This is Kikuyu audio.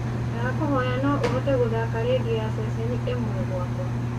ndakũhoya no ũhote gũthaaka rĩndiũ ya ceceni ĩmwe gwakwa